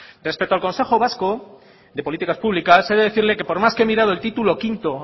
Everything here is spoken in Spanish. respecto al consejo vasco de políticas públicas he de decirle que por más que he mirado el título quinto